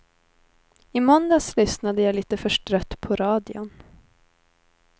I måndags lyssnade jag lite förstrött på radion.